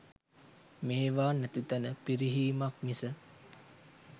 මේවා නැති තැන පිරිහිමක් මිස